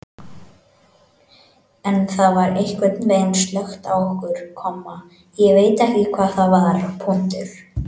En það var einhvern veginn slökkt á okkur, ég veit ekki hvað það var.